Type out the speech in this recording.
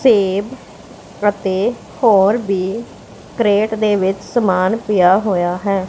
ਸੇਬ ਅਤੇ ਹੋਰ ਬੀ ਕ੍ਰੇਟ ਦੇ ਵਿੱਚ ਸਮਾਨ ਪਿਆ ਹੋਇਆ ਹੈ।